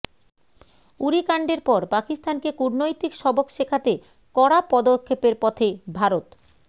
উরি কাণ্ডের পর পাকিস্তানকে কূটনৈতিক সবক শেখাতে কড়া পদক্ষেপের পথে ভারত